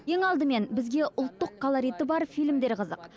ең алдымен бізге ұлттық колориті бар фильмдер қызық